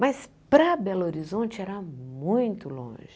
Mas para Belo Horizonte era muito longe.